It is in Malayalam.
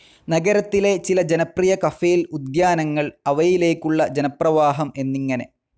നഗരത്തിലെ ചില ജനപ്രിയ കഫേൽ, ഉദ്യാനങ്ങൾ അവയിലേക്കുള്ള ജനപ്രവാഹം എന്നിങ്ങനെ.